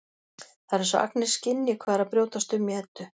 Það er eins og Agnes skynji hvað er að brjótast um í Eddu.